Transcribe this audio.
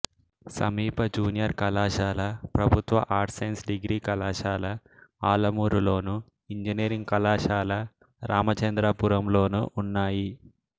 సమీప జూనియర్ కళాశాల ప్రభుత్వ ఆర్ట్స్ సైన్స్ డిగ్రీ కళాశాల ఆలమూరులోను ఇంజనీరింగ్ కళాశాల రామచంద్రపురంలోనూ ఉన్నాయి